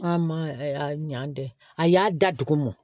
An ma a ɲan dɛ a y'a da dugu mɔ